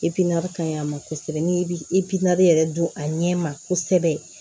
n'i bi yɛrɛ dun a ɲɛ ma kosɛbɛ